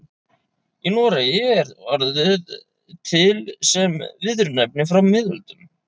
Í Noregi er orðið til sem viðurnefni frá miðöldum.